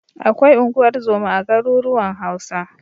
Akwai unguwar zoma a garuruwan Hausa.